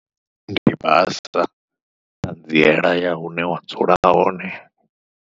Ndi basa, ṱhanziela ya hune wa dzula hone.